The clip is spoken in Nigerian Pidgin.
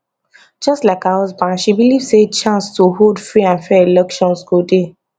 just like her husband she believe say chance to hold free and fair elections go dey